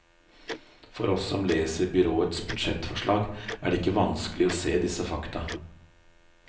For oss som leser byrådets budsjettforslag, er det ikke vanskelig å se disse fakta.